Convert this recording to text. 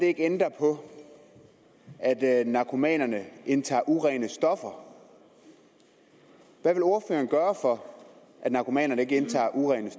ikke ændre på at narkomanerne indtage urene stoffer hvad vil ordføreren gøre for at narkomanerne ikke indtager urene